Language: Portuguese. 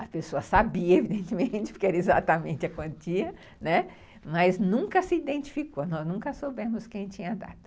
A pessoa sabia, evidentemente, porque era exatamente a quantia, né, mas nunca se identificou, nós nunca soubemos quem tinha dado.